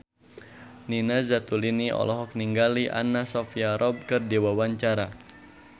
Nina Zatulini olohok ningali Anna Sophia Robb keur diwawancara